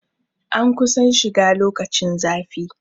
An kusan shiga lokacin zafi